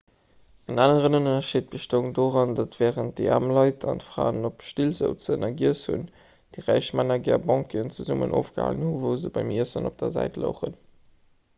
en aneren ënnerscheed bestoung doran datt wärend déi aarm leit an d'fraen op still souzen a giess hunn déi räich männer gär banqueten zesummen ofgehalen hunn wou se beim iessen op der säit louchen